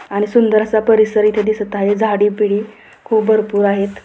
आणि सुंदर असा परिसर येथे दिसत आहे झाडे बिडे येथे खूप भरपूर आहेत.